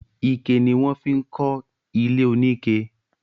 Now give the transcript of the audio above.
Ike ni wọ́n fi ń kọ ilé oníke